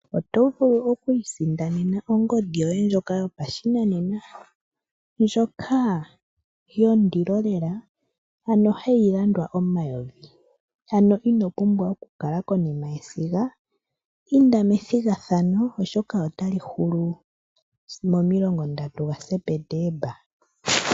Otovulu oku isindanena ongodhi yoye nsjoka yopashinanena ndjoka yondilo lela ano hayi landwa omayovi ano inopumbwa okukala konima yesiga . Inda methigathano oshoka otali Hulu momilongo ndatu ga Sepetemba.